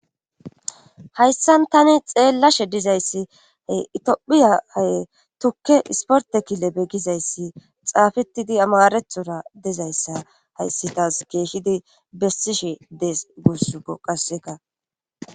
hayssan tani xeellashe dizayssi he itphiya hae tukke isporte kile beggizayssi xaafetidi amarethora dezayssa hayssi taas keeshidi bessishe dees guussuko qasseka